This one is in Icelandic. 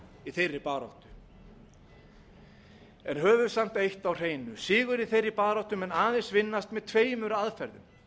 í þeirri baráttu höfum samt eitt á hreinu sigur í þeirri baráttu mun aðeins vinnast með tveimur aðferðum